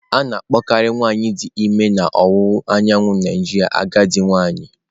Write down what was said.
A na-akpọkarị nwanyị dị ime na ọwụwa anyanwụ Naijiria agadi nwanyị.